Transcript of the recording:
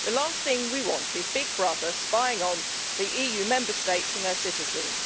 The last thing we want is Big Brother spying on the EU Member States and their citizens.